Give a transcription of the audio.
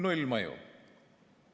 Nullmõju.